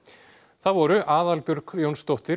það voru Aðalbjörg Jónsdóttir